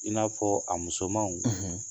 I n'a fɔ a musomanw: